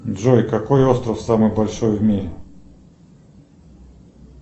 джой какой остров самый большой в мире